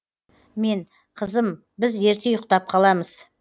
мен қызым біз ерте ұйықтап қаламыз